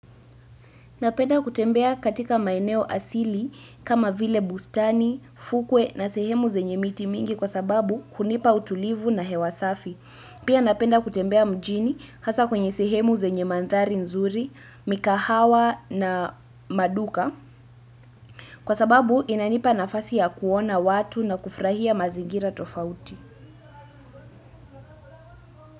Napenda kutembea katika maeneo asili kama vile bustani fukwe na sehemu zenye miti mingi kwa sababu hunipa utulivu na hewa safi. Pia napenda kutembea mjini hasa kwenye sehemu zenye mandhari nzuri, mikahawa na maduka kwa sababu inanipa nafasi ya kuona watu na kufrahia mazingira tofauti.